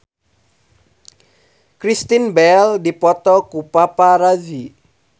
Kristen Bell dipoto ku paparazi